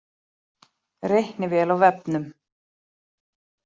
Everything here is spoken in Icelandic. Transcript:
Reiknivél á vefnum